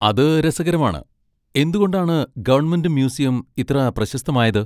അത് രസകരമാണ്. എന്തുകൊണ്ടാണ് ഗവൺമെന്റ് മ്യൂസിയം ഇത്ര പ്രശസ്തമായത്?